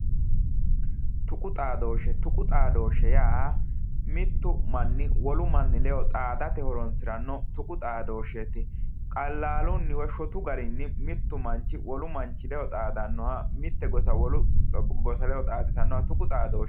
Tuqu xaadooshshe tuqu xaadooshshe yaa mittu manni wolu manni ledo xaadate horonsiranno tuqu xaadooshsheeti qallaalunni woy shotu garinni mittu manchi wolu manchi ledo xaadannoha mitte gosa wole gosa ledo xaadisannoha tuqu xadooshshe